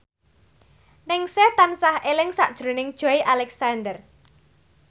Ningsih tansah eling sakjroning Joey Alexander